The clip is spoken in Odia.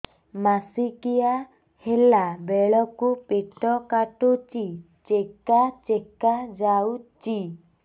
ମାସିକିଆ ହେଲା ବେଳକୁ ପେଟ କାଟୁଚି ଚେକା ଚେକା ଯାଉଚି